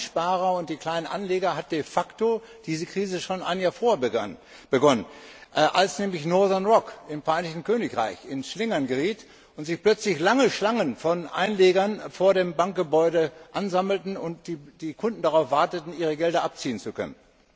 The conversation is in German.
Für die Kleinsparer und die Kleinanleger hat de facto diese Krise schon ein Jahr vorher begonnen, als nämlich Northern Rock im Vereinigten Königreich ins Schlingern geriet und sich plötzlich lange Schlangen von Einlegern vor dem Bankgebäude ansammelten und die Kunden darauf warteten, ihre Gelder abziehen zu können.